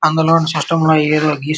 అందులోంచి సిస్టం అయినప్పుడు.